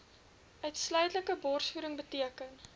uitsluitlike borsvoeding beteken